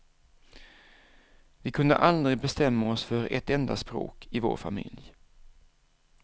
Vi kunde aldrig bestämma oss för ett enda språk i vår familj.